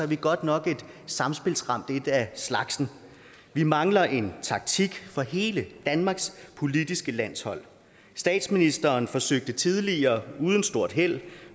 vi godt nok et samspilsramt et af slagsen vi mangler en taktik for hele danmarks politiske landshold statsministeren forsøgte sig tidligere uden stort held